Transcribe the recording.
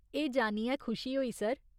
एह् जानियै खुशी होई, सर।